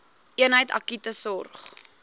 eenheid akute sorg